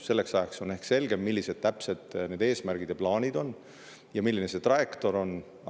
Selleks ajaks on ehk selgem, millised täpselt need eesmärgid ja plaanid on ning milline see trajektoor on.